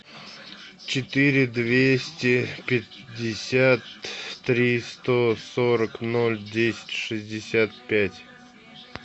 четыре двести пятьдесят три сто сорок ноль десять шестьдесят пять